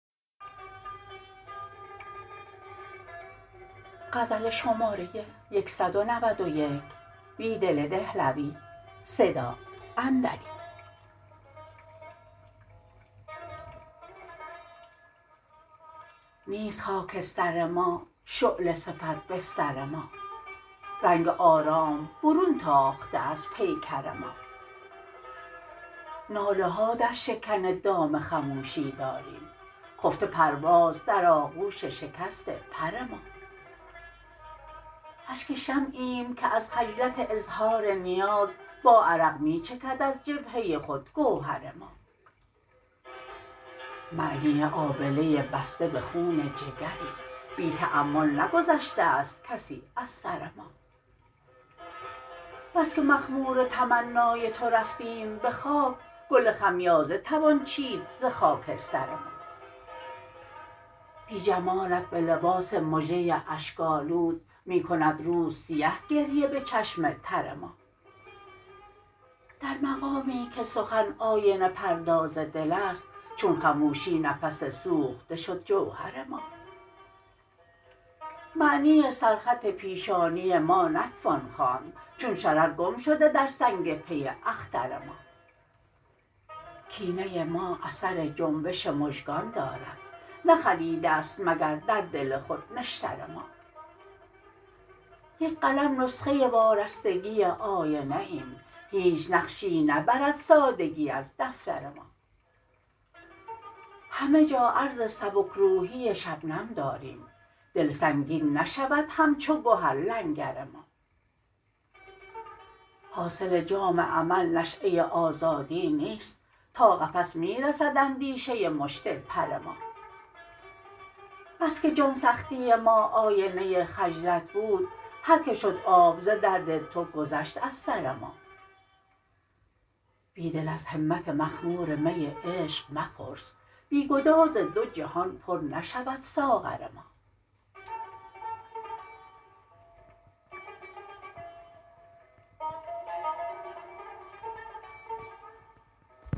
نیست خاکستر ما شعله صفت بستر ما رنگ آرام برون تاخته از پیکر ما ناله ها در شکن دام خموشی داریم خفته پرواز در آغوش شکست پر ما اشک شمع ایم که از خجلت اظهار نیاز با عرق می چکد از جبهه خود گوهر ما معنی آبله بسته به خون جگریم بی تأمل نگذشته است کسی از سر ما بسکه مخمور تمنای تو رفتیم به خاک گل خمیازه توان چید ز خاکستر ما بی جمالت به لباس مژه اشک آلود می کند روز سیه گریه به چشم تر ما در مقامی که سخن آینه پرداز دل است چون خموشی نفس سوخته شد جوهر ما معنی سرخط پیشانی ما نتوان خواند چون شرر گم شده در سنگ پی اختر ما کینه ما اثر جنبش مژگان دارد نخلیده ست مگر در دل خود نشتر ما یک قلم نسخه وارستگی آینه ایم هیچ نقشی نبرد سادگی از دفتر ما همه جا عرض سبک روحی شبنم داریم دل سنگین نشود همچو گهر لنگر ما حاصل جام امل نشیه آزادی نیست تا قفس می رسد اندیشه مشت پر ما بسکه جان سختی ما آینه خجلت بود هرکه شد آب ز درد تو گذشت از سر ما بیدل از همت مخمور می عشق مپرس بی گداز دو جهان پر نشود ساغر ما